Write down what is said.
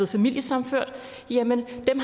familiesammenført